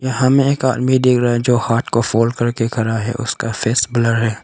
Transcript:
यहां हमें एक आदमी डिख रहा है जो हाट को फोल्ड करके खरा है। उसका फेस ब्लर है।